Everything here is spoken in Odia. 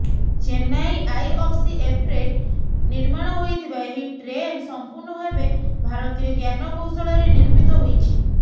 ଚେନ୍ନାଇ ଆଇଅଫ୍ସିଏଫ୍ରେ ନିର୍ମାଣ ହୋଇଥିବା ଏହି ଟ୍ରେନ୍ ସମ୍ପୂର୍ଣ୍ଣ ଭାବେ ଭାରତୀୟ ଜ୍ଞାନ କୌଶଳରେ ନିର୍ମିତ ହୋଇଛି